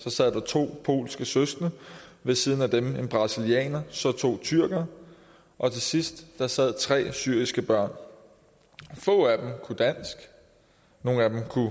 så sad der to polske søskende ved siden af dem en brasilianer så to tyrkere og til sidst sad der tre syriske børn få af dem kunne dansk nogle af dem kunne